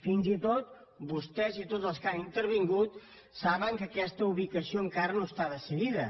fins i tot vostès i tots els que han intervingut saben que aquesta ubicació encara no està decidida